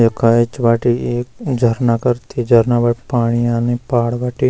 यख ऐंच बाटी एक झरना करती झरना बाटी पाणी आनी पहाड़ बटे।